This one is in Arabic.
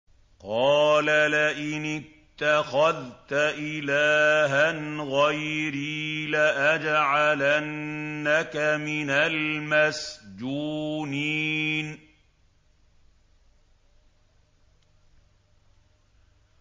قَالَ لَئِنِ اتَّخَذْتَ إِلَٰهًا غَيْرِي لَأَجْعَلَنَّكَ مِنَ الْمَسْجُونِينَ